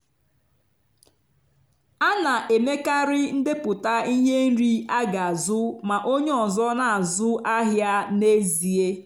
a na-emekarị ndepụta ihe nri aga azu ma onye ọzọ na-azụ ahịa n'ezie.